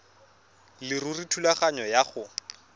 leruri thulaganyo ya go